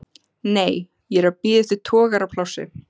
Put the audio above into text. Nei, ég er að bíða eftir togaraplássi.